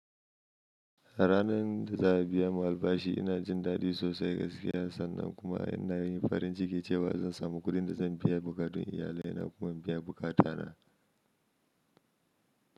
A ranar da za a biya mulba shi ina jin daɗi sosai gaskiya sannan kuma ina yin farin ciki cewa zan samu kuɗin da zan biya bukatun iyalaina kuma in biya bukata na.